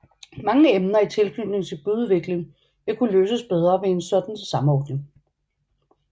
Mange emner i tilknytning til byudvikling vil kunne løses bedre ved en sådan samordning